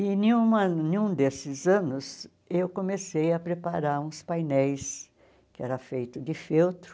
E em nenhuma nenhum desses anos eu comecei a preparar uns painéis que era feito de feltro.